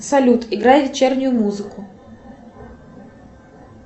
салют играй вечернюю музыку